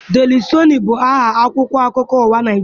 Deli sọọnụ bụ aha akwụkwọ akụkọ ụwa na Naịjirịa.